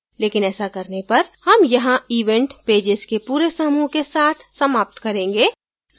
लेकिन ऐसा करने पर हम यहाँ event pages के पूरे समूह के साथ समाप्त करेंगे